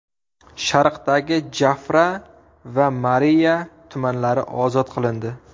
Sharqdagi Jafra va Mariiya tumanlari ozod qilindi.